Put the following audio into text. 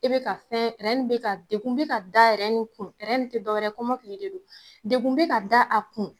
I bɛ ka fɛn in bɛ ka dagun bɛ ka in kun, in tɛ dɔ wɛrɛ ye kɔmɔkili de don, degun bɛ ka da a kun.